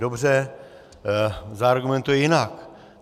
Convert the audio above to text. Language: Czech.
Dobře, zaargumentuji jinak.